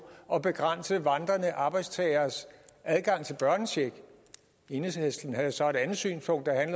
at begrænse vandrende arbejdstageres adgang til børnecheck enhedslisten havde så et andet synspunkt der